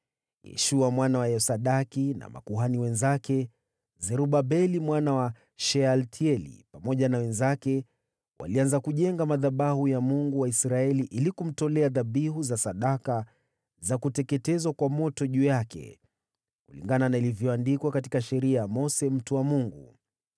Yeshua mwana wa Yosadaki na makuhani wenzake, Zerubabeli mwana wa Shealtieli pamoja na wenzake walianza kujenga madhabahu ya Mungu wa Israeli ili kumtolea dhabihu za sadaka za kuteketezwa kwa moto juu yake, kulingana na ilivyoandikwa katika Sheria ya Mose mtu wa Mungu.